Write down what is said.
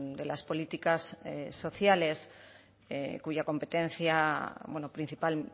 de las políticas sociales cuya competencia principal